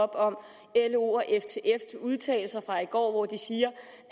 op om los og ftfs udtalelser fra i går hvor de siger